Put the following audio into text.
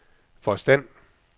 forstand